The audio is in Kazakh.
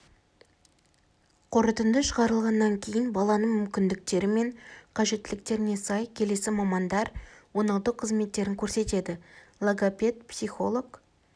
қорытынды шығарылғаннан кейін баланың мүмкіндіктері мен қажеттіліктеріне сай келесі мамандар оңалту қызметтерін көрсетеді логопед психолог